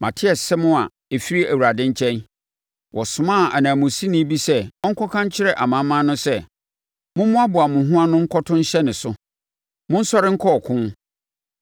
Mate asɛm a ɛfiri Awurade nkyɛn: wɔsomaa ananmusini bi sɛ ɔnkɔka nkyerɛ amanaman no sɛ, “Mommoaboa mo ho ano nkɔto nhyɛ ne so! Monsɔre nkɔ ɔko!”